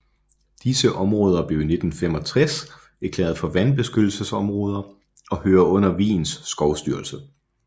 Disse områder blev i 1965 erklæret for vandbeskyttelsesområder og hører under Wiens skovstyrelse